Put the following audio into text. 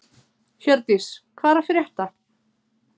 Hjördís, hvað er að frétta?